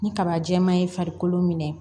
Ni kaba jɛma ye farikolo minɛ